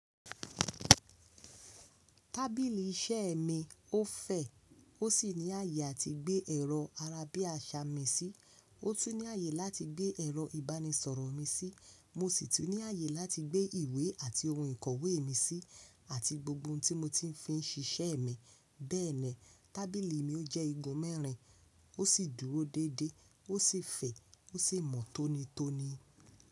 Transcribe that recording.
Tábìlì iṣẹ́ mi ó fẹ̀, ó sì ní àyè áti gbé ẹ̀rọ arábíàṣá mi sí. Ó tún ní àyè láti gbé ẹ̀rọ ìbánisọ̀rọ̀ mi sí. Mo sì tún ní àyè láti gbé ìwé àti ohun ìkọ̀wé mi sí, àti gbogbo ohun tí mo ti ń fi ṣíṣẹ́ mi. Bẹ́ẹ̀ni, tábìlì mi jẹ́ igun mẹ́rin, ó sì dúró déédé, ó sì fẹ̀, ó sì mọ́ tónítóní.